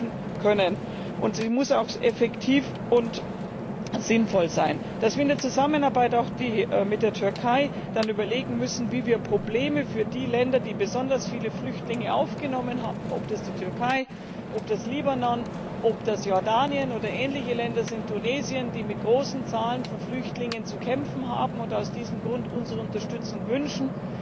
Die Bekämpfung muss auch effektiv und sinnvoll sein. Dass wir in der Zusammenarbeit auch mit der Türkei dann überlegen müssen, wie wir Probleme für die Länder lösen können, die besonders viele Flüchtlinge aufgenommen haben ob das die Türkei, ob das Libanon, ob das Jordanien, Tunesien oder ähnliche Länder sind, die mit großen Zahlen von Flüchtlingen zu kämpfen haben und aus diesem Grund unsere Unterstützung wünschen,